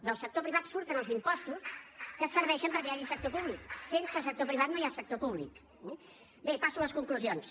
del sector privat surten els impostos que serveixen perquè hi hagi sector públic sense sector privat no hi ha sector públic eh bé passo a les conclusions